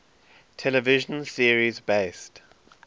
television series based